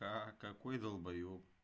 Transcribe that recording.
ха какой долбаёб